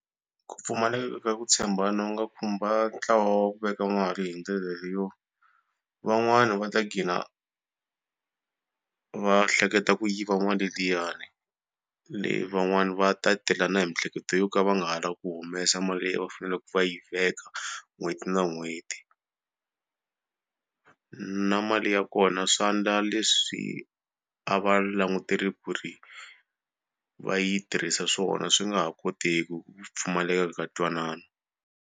Ku pfumaleka ku tshembana wu nga khumba ntlawa wa ku veka mali hi ndlela leyo van'wani va ta gcina va hleketa ku yiva mali liyani leyi van'wani va ta tela na miehleketo yo ka va nga ha lavi ku humesa mali leyi va faneleke va yi veka n'hweti na n'hweti. Na mali ya kona swa endla leswi a va langutele ku ri va yi tirhisa swona swi nga ha kotiki hi ku pfumaleka ka ntwanano.